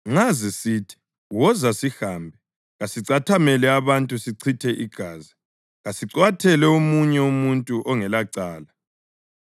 Nxa zisithi, “Woza sihambe; kasicathamele abantu sichithe igazi, kasicwathele omunye umuntu ongelacala;